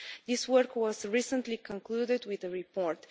This work was recently concluded with a report.